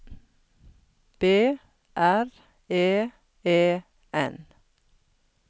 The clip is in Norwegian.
B R E E N